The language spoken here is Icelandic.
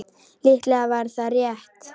Líklega var það rétt.